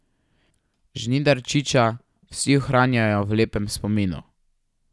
Žnidarčiča vsi ohranjajo v lepem spominu.